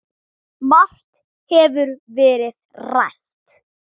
Margt hefur verið rætt.